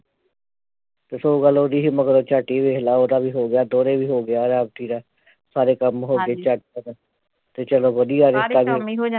ਦੱਸੋ ਗੱਲ ਉਹਦੀ ਮਤਲਬ ਝੱਟ ਹੀ ਵੇਖਲਾ ਉਹਦਾ ਵੀ ਹੋ ਗਿਆ ਦੋਹਰੇ ਵੀ ਹੋ ਗਿਆ ਰਾਖੀ ਦਾ ਸਾਰੇ ਕੰਮ ਹੋ ਗਏ ਝੱਟ ਖਤਮ ਤੇ ਚੱਲੋ ਵਧੀਆ